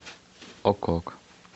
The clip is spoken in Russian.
ок ок